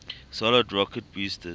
solid rocket boosters